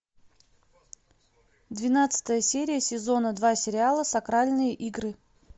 двенадцатая серия сезона два сериала сакральные игры